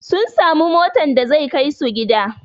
Sun samu motan da zai kaisu gida